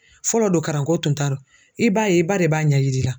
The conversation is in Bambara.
Fɔlɔ don karanko tun t'aro i b'a ye i ba de b'a ɲɛ yir'i la.